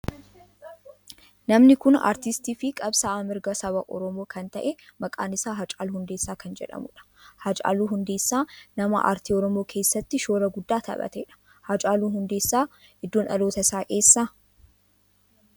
Namni kun aartistii fi qabsa'aa mirga saba oromoo kan ta'e maqaan isaa Haacaaluu Hundeessaa kan jedhamudha. Haacaaluun Hundeessaa nama aartii oromoo keessatti shoora guddaa taphateedha. Haacaaluu Hundeessaa iddoon dhaloota isaa eessa?